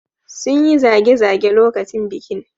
Sun yi zage-zage lokacin bikin.